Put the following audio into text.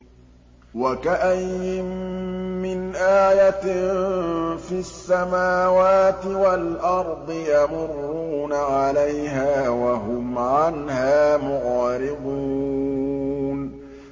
وَكَأَيِّن مِّنْ آيَةٍ فِي السَّمَاوَاتِ وَالْأَرْضِ يَمُرُّونَ عَلَيْهَا وَهُمْ عَنْهَا مُعْرِضُونَ